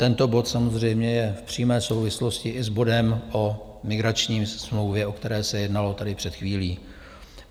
Tento bod samozřejmě je v přímé souvislosti i s bodem o migrační smlouvě, o které se jednalo tady před chvílí.